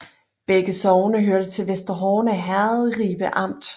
Begge sogne hørte til Vester Horne Herred i Ribe Amt